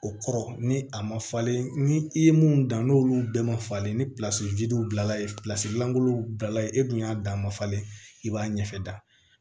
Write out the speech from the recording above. O kɔrɔ ni a ma falen ni i ye mun dan n'olu bɛɛ ma falen ni bilala yen lankolonw bilala yen e kun y'a dan ma falen i b'a ɲɛfɛ da